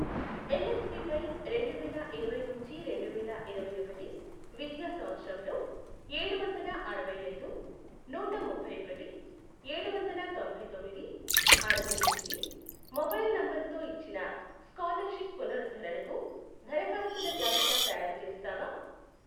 NSP పై రెండువేల ఇరవై నుంచి రెండువేల ఇరవై ఒకటి విద్యా సంవత్సరంలో ఏడువందల అరవైఐదు, నూట ముప్పైఒకటి, ఏడువందల తొంభై తొమ్మిది, అరవై ఎనిమిది, మొబైల్ నంబరుతో ఇచ్చిన స్కాలర్షిప్ పునరుద్ధరణకు దరఖాస్తుల జాబితా తయారుచేస్తావా?